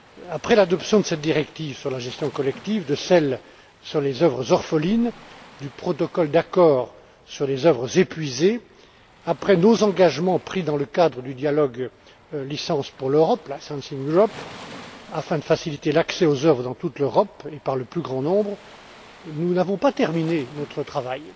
Après l'adoption de cette directive sur la gestion des sociétés collectives, de celle sur les œuvres orphelines et du protocole d'accord sur les œuvres épuisées, après nos engagements pris dans le cadre du dialogue licences pour l'Europe afin de faciliter l'accès aux œuvres dans toute l'Europe et par le plus grand nombre, nous n'avons pas terminé notre travail